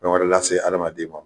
fɛn wɛrɛ lase adamaden ma.